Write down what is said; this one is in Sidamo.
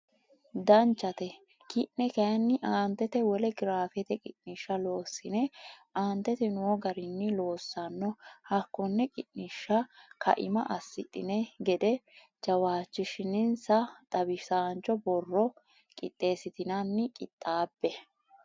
Danchate ki ne kayinni aantete wole giraafete qiniishsha loossine Aantete noo garinni loossanno hakkonne qiniishsha kaima asidhine gede jawaachishinsa xawisaancho borro qixxeessitinannina qixxaabbe.